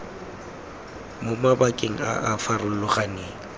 mo mabakeng a a farologaneng